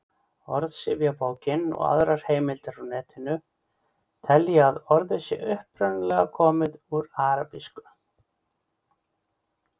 Orðsifjabókin og aðrar heimildir á Netinu telja að orðið sé upprunalega komið úr arabísku.